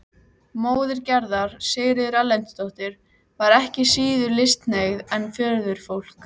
Móðir Gerðar, Sigríður Erlendsdóttir, var ekki síður listhneigð en föðurfólkið.